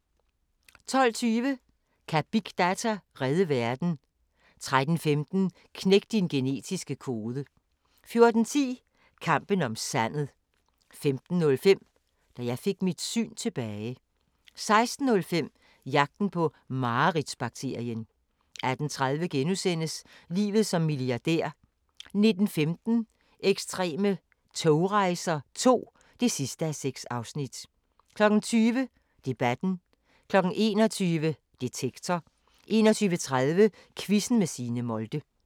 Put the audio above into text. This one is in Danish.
12:20: Kan big data redde verden? 13:15: Knæk din genetiske kode 14:10: Kampen om sandet 15:05: Da jeg fik mit syn tilbage 16:05: Jagten på mareridts-bakterien 18:30: Livet som milliardær (6:6) 19:15: Ekstreme togrejser II (6:6) 20:00: Debatten 21:00: Detektor 21:30: Quizzen med Signe Molde